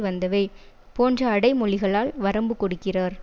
வந்தவை போன்ற அடைமொழிகளால் வரம்பு கொடுக்கிறார்